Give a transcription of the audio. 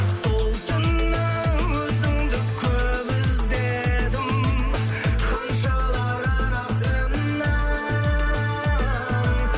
сол түні өзіңді көп іздедім ханшалар арасынан